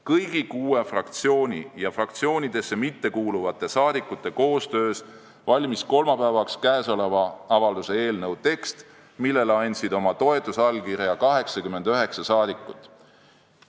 Kõigi kuue fraktsiooni liikmete ja fraktsioonidesse mittekuuluvate saadikute koostöös valmis kolmapäevaks käesoleva avalduse eelnõu tekst, millele andsid oma toetusallkirja 89 saadikut.